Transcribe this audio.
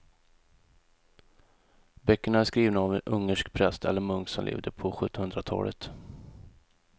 Böckerna är skrivna av en ungersk präst eller munk som levde på sjuttonhundratalet.